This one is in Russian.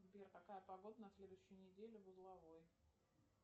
сбер какая погода на следующую неделю в узловой